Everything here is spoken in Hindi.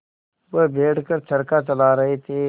वह बैठ कर चरखा चला रहे थे